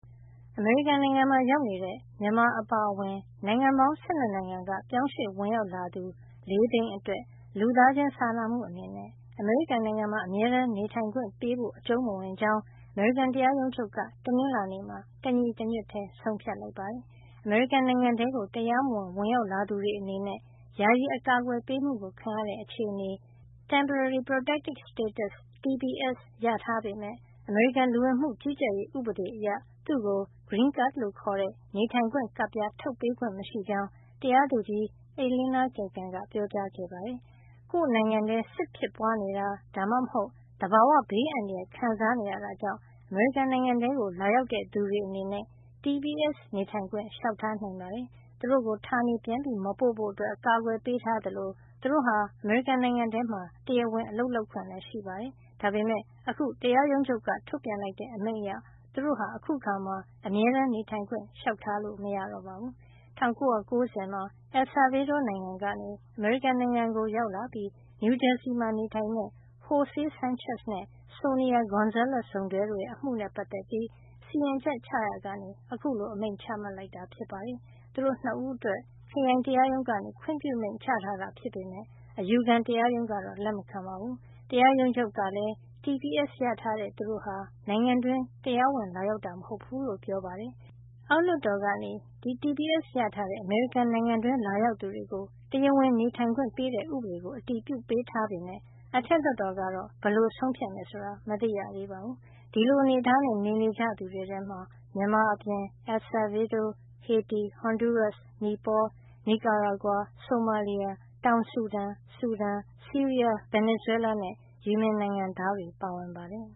အမေရိကန်နိုင်ငံမှာ ရောက်နေတဲ့ မြန်မာအပါအဝင် နိုင်ငံပေါင်း ၁၂ နိုင်ငံက ပြောင်းရွှေ့ဝင်ရောက်လာသူ ၄ သိန်း အတွက် လူသားချင်းစာနာမှု အနေနဲ့ အမေရိကန်မှာ အမြဲတမ်းနေထိုင်ခွင့်ပေးဖို့ အကြုံးမဝင်ကြောင်း အမေရိကန်တရားရုံးချုပ်က တနင်္လာနေ့မှာ တညီတညွတ်ထည်း ဆုံးဖြတ်လိုက်ပါတယ်။ အမေရိကန်နိုင်ငံထဲကို တရားမဝင်ဝင်ရောက်လာသူတွေ အနေနဲ့ ယာယီအကာကွယ်ပေးမှု ခံရတဲ့ အခြေနေ (Temporary Protected Status) TPS ရထား ပေမယ့် အမေရိကန်လူဝင်မှုကြီးကြပ်ရေး ဥပဒေအရ သူ့ကို green cards လို့ခေါ်တဲ့ နေထိုင်ခွင့် ကပ်ပြား ထုတ်ပေးခွင့် မရှိကြောင်း တရာသူကြီး Elena Kagan က ပြောကြားခဲ့ပါတယ်။ ကိုယ့်နိုင်ငံထဲ စစ်ဖြစ်ပွားနေတာ ဒါမှမဟုတ် သဘာဝဘေးအန္တရာယ် ခံစားနေရတာကြောင့် အမေရိကန်နိုင်ငံထဲကို လာရောက်တဲ့ သူတွေ အနေနဲ့ TPS နေထိုင်ခွင့် လျှောက်ထားနိုင်ပါတယ်။ သူတို့ကို ဌာနေပြန်မပို့ဖို့ အကာကွယ်ပေးထားသလို သူတို့ဟာ အမေရိကန် နိုင်ငံထဲမှာ တရားဝင် အလုပ်လုပ်ခွင့်ရှိပါတယ်။ ဒါပေမယ့် အခု တရားရုံးချုပ်က ထုတ်ပြန်လိုက်တဲ့ အမိန့်အရ သူတို့ဟာ အခုအခါမှာ အမြဲတမ်းနေထိုင်ခွင့် လျှောက်ထားလို့ မရတော့ပါဘူး။ ၁၉၉၀ မှာ El Salvador နိုင်ငံကနေ အမေရိကန်နိုင်ငံကို ကို ရောက်လာပြီး နယူးဂျာစီမှာ နေထိုင်တဲ့ Jose Sanchez နဲ့ Sonia Gonzales စုံတွဲရဲ့ အမှုနဲ့ ပတ်သက်ပြီး စီရင်ချက်ချရာကနေ အခုလို အမိန့်ချမှတ်လိုက်တာ ဖြစ်ပါတယ်။ သူတို့ ၂ ဦးအတွက် ခရိုင်တရားရုံးက ခွင့်ပြုမိန့်ချထားတာ ဖြစ်ပေမယ့် အယူခံတရားရုံးက လက်မခံပါဘူး။ တရားရုံးချုပ်ကလည်း TSP ရထားတဲ့ သူတို့ဟာ နိုင်ငံတွင်း တရားဝင်လာရောက်တာ မဟုတ်ဘူးလို့ ပြောပါတယ်။ အောက်လွှတ်တော်က TPS ရထားတဲ့ အမေရိကန်နိုင်ငံတွင်းလာရောက်သူတွေကို တရားဝင်နေထိုင်ခွင့် ပေးတဲ့ ဥပဒေကို အတည်ပြုပေးထားပေမယ့် အထက်လွှတ်တော်ကတော့ ဘယ်လို ဆုံးဖြတ်မယ် ဆိုတာ မသိရသေးပါဘူး။ ဒီလို အနေထားနဲ့ နေနေကြတဲ့ သူတွေထဲမှာ မြန်မာအပြင် El Salvador၊ ဟေတီ၊ ဟွန်ဒူးရပ်စ်၊ နိပေါ၊ နီကာရာဂွာ၊ ဆိုမာလီယာ၊ တောင်ဆူဒန်၊ ဆူဒန်၊ ဆီးရီးယား၊ ဗင်နီဇွဲလားနဲ့ ယီမင်နိုင်ငံသားတွေပါ ပါဝင်ပါတယ်